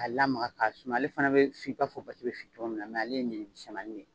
K'a lamaka k'a suma, ale fana bɛ fin i b'a fɔ fo basi bɛ fin cogoya min na, mɛ ale de ye misɛmanin de ye.